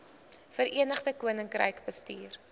verenigde koninkryk bestuur